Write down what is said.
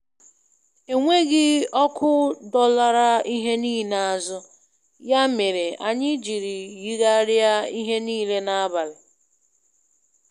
Enweghị ọkụ dọlara ihe niile azụ, ya mere anyị jiri yigharịa ihe niile n'abalị.